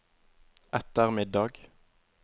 ettermiddag